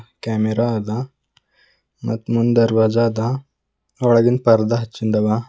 Camera ಅದ ಮತ್ ಮುಂದ್ ದರ್ವಾಜ ಅದ ಒಳಗಿನ ಪರ್ದ ಹಚ್ಚಿಂದವ.